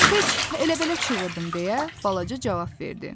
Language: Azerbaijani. Heç elə-belə çığırdım deyə balaca cavab verdi.